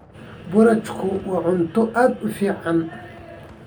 Boorashku waa cunto aad u fiican.